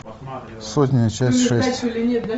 сотня часть шесть